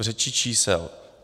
V řeči čísel.